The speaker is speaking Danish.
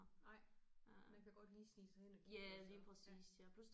Nej man kan godt lige snige sig ind og kigge og så ja